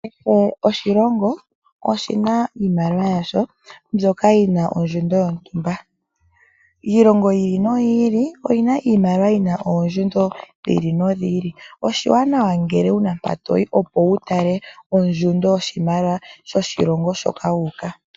Kehe oshilongo oshina iimaliwa yasho mbyoka yina ondjundo yontumba. Iilongo yi ili noyi oyina iimaliwa yina oondjundo dhi ili nodhi ili, oshiwanawa ngele wuna mpa toyi opo wu tale ondjundo yoshimaliwa sho shilongo shoka wu uka.